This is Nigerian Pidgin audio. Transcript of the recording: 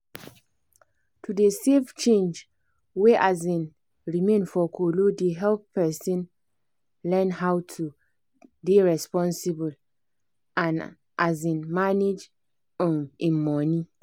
to dey save change wey um remain for kolo dey help person learn how to dey responsible and um manage um im money.